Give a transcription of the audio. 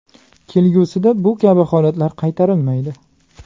Kelgusida bu kabi holatlar qaytarilmaydi.